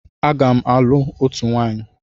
Aga m alụ òtù nwaanyi.